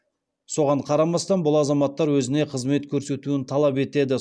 соған қарамастан бұл азаматтар өзіне қызмет көрсетуін талап етеді